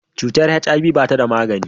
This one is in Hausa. Cutar HIV ba ta da magani.